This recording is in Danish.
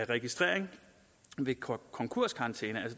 registrering ved konkurskarantæne